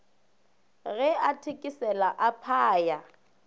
ge a thekesela a phaya